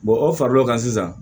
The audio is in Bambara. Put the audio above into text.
o far'o kan sisan